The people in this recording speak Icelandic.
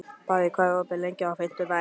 Barri, hvað er opið lengi á fimmtudaginn?